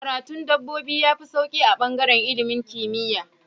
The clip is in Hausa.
Karatu dabbobi yafi sauki a bangaran ilimin kimiya